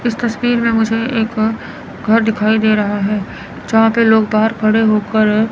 इस तस्वीर में मुझे एक घर दिखाई दे रहा है जहां पे लोग बाहर खड़े होकर--